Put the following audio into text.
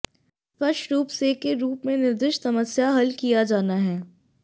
स्पष्ट रूप से के रूप में निर्दिष्ट समस्या हल किया जाना है